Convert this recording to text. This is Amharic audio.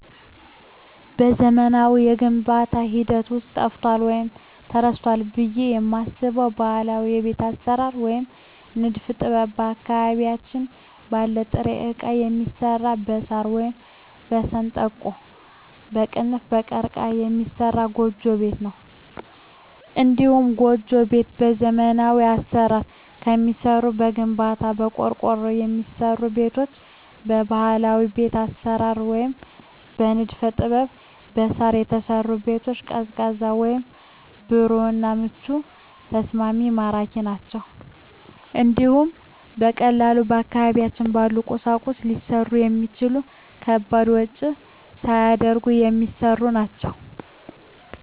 በዘመናዊው የግንባታ ሂደት ውስጥ ጠፍቷል ወይም ተረስቷል ብየ የማስበው ባህላዊ የቤት አሰራር ወይም የንድፍ ጥበብ አካባቢያችን ባለ ጥሬ እቃ የሚሰራ በሳር ወይም በሸንበቆ(ቀርቀሀ) የሚሰራ ጎጆ ቤት ነው። እንዲሁም ጎጆ ቤት በዘመናዊ አሰራር ከሚሰሩ ከግንባታ፣ በቆርቆሮ ከሚሰሩ ቤቶች በባህላዊ ቤት አሰራር ወይም የንድፍ ጥበብ በሳር የተሰሩ ቤቶች ቀዝቃዛ ወይም ብሩህ እና ምቹና ተስማሚ ማራኪ ናቸው እንዲሁም በቀላሉ አካባቢያችን ባሉ ቁሶች ሊሰሩ የሚችሉ ለከባድ ወጭ ሳይዳርጉ የሚሰሩ ናቸው።